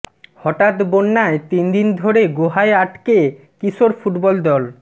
হঠাৎ বন্যায় তিন দিন ধরে গুহায় আটকে কিশোর ফুটবল দল